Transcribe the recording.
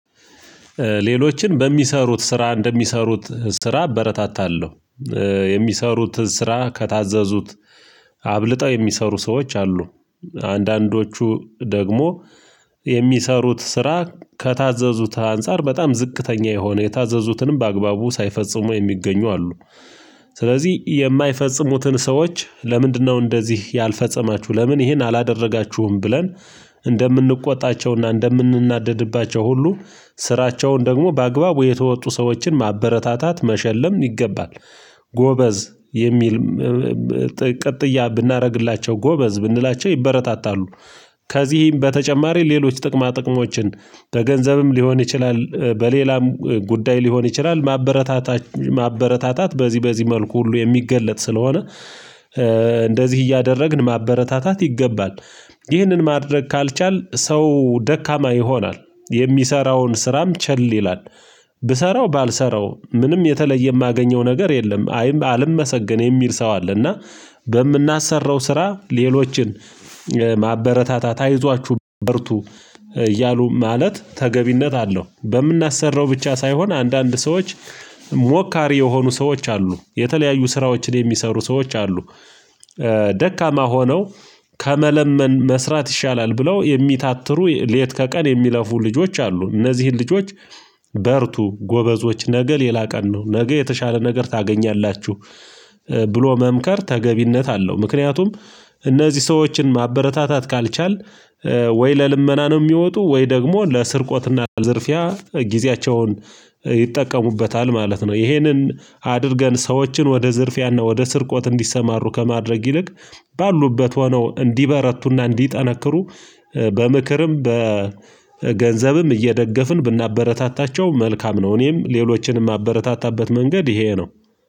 ሌሎችን በሚሰሩት ስራ እንደሚሰሩት ስራ አበረታታለሁ። የሚሰሩትን ስራ ከታዘዙት አብልጠው የሚሰሩ ሰዎች አሉ። አንዳንዶቹ ደግሞ የሚሰሩት ስራ ከታዘዙት አንፃር በጣም ዝቅተኛ የሆነ የታዘዙትንም በአግባቡ ሳይፈጽሙ የሚገኙ አሉ። ስለዚህ የማይፈጽሙትን ሰዎች ለምንድነው እንደዚህ ያልፈጸማችሁ ለምን ይሄን አላደረጋችሁም ብለን እንደምንቆጣቸውና እንደምንናደድባቸው ሁሉ ስራቸውን ደግሞ በአግባቡ የተወጡ ሰዎችን ማበረታታት መሸለም ይገባል። ጎበዝ የሚል ቅጥያ ብናደርግላቸው ጎበዝ ብንላቸው ይበረታታሉ። ከዚህም በተጨማሪ ሌሎች ጥቅማ ጥቅሞችን በገንዘብም ሊሆን ይችላል በሌላም ጉዳይ ሊሆን ይችላል። ማበረታታት በዚህ በዚህ መልኩ ሁሉ የሚገለጥ ስለሆነ እንደዚህ እያደረግን ማበረታታት ይገባል። ይህንን ማድረግ ካልቻልን ሰው ደካማ ይሆናል የሚሰራውን ስራም ቸል ይላል። ብሰራው ባልሰራው ምንም የተለየ የማገኘው ነገር የለም አይም አልመሰገን የሚል ሰው አለና እና። በምናሰራው ስራ ሌሎችን ማበረታታት አይዟችሁ በርቱ እያሉ ማለት ተገቢነት አለው። በምናሰራው ብቻ ሳይሆን አንዳንድ ሰዎች ሞካሪ የሆኑ ሰዎች አሉ የተለያዩ ስራዎችን የሚሰሩ ሰዎች አሉ። ደካማ ሆነው ከመለመን መስራት ይሻላል ብለው የሚታተሩ ሌት ከቀን የሚለፉ ልጆች አሉ እነዚህን ልጆች በርቱ ጎበዞች ነገ ሌላ ቀን ነው ነገ የተሻለ ነገር ታገኛላችሁ። ብሎ መምከር ተገቢነት አለው። ምክንያቱም እነዚህ ሰዎችን ማበረታታት ካልቻልን ወይ ለልመና ነው የሚወጡ ወይ ደግሞ ለስርቆትና ለዝርፊያ ጊዜያቸውን ይጠቀሙበታል ማለት ነው። ይሄንን አድርገን ሰዎችን ወደ ዝርፊያና ወደ ስርቆት እንዲሰማሩ ከማድረግ ይልቅ ባሉበት ሆነው እንዲበረቱና እንዲጠነክሩ በምክርም በገንዘብም እየደገፍን ብናበረታታቸው መልካም ነው። እኔም ሌሎችን ማበረታታበት መንገድ ይሄ ነው